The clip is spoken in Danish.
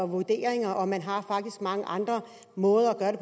vurderinger og man har faktisk også mange andre måder at